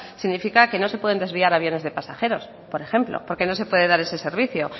significa que no se pueden desviar aviones de pasajeros por ejemplo porque no se puede dar ese servicio